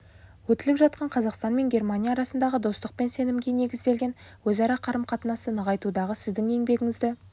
өтіліп жатқан қазақстан мен германия арасындағы достық пен сенімге негізделген өзара қарым-қатынасты нығайтудағы сіздің еңбегіңізді